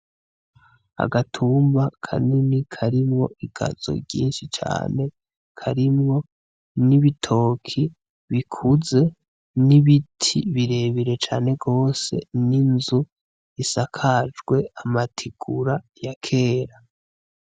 Agatumba kanini karimwo igazo ryinshi cane karimwo n'ibitoke bikunzwe n'ibiti birebire cane gose n'inzu isakajwe amategura yakera.